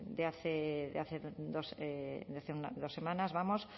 de hace dos semanas